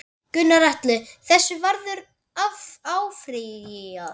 Gunnar Atli: Þessu verður áfrýjað?